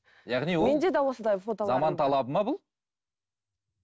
яғни ол заман талабы ма бұл